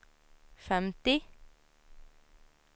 femtio